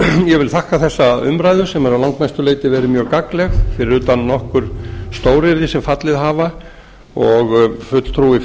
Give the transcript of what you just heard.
ég vil þakka þessa umræðu sem hefur að langmestu leyti verið mjög gagnleg fyrir utan nokkur stóryrði sem fallið hafa og fulltrúi